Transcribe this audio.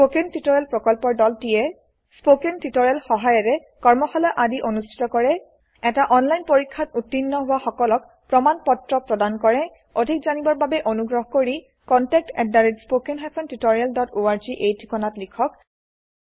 spoken tutorial প্ৰকল্পৰ দলটিয়ে spoken tutorial সহায়িকাৰে কৰ্মশালা আদি অনুষ্ঠিত কৰে এটা অনলাইন পৰীক্ষাত উত্তীৰ্ণ হোৱা সকলক প্ৰমাণ পত্ৰ প্ৰদান কৰে অধিক জানিবৰ বাবে অনুগ্ৰহ কৰি contactspoken tutorialorg এই ঠিকনাত লিখক